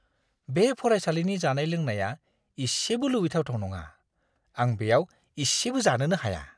बे फरायसालिनि जानाय-लोंनाया इसेबो लुबैथावथाव नङा; आं बेयाव इसेबो जानोनो हाया!